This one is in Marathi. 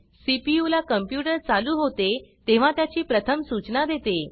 सीपीयू ला कॉम्प्यूटर चालू होते तेव्हा त्याची प्रथम सूचना देते